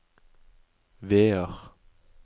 Vear